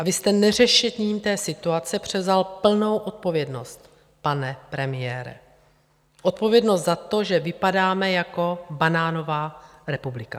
A vy jste neřešením té situace převzal plnou odpovědnost, pane premiére - odpovědnost za to, že vypadáme jako banánová republika.